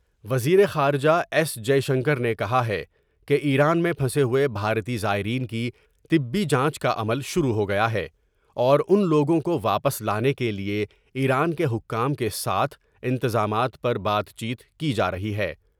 وزیر خارجہ ایس جے شنکر نے کہا ہے کہ ایران میں پھنسے ہوۓ بھارتی زائرین کی طبی جانچ کاعمل شروع ہو گیا ہے اور ان لوگوں کو واپس لانے کے لئے ایران کے حکام کے ساتھ انتظامات پر بات چیت کی جارہی ہے ۔